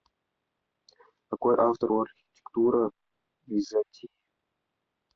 какой автор у архитектура византии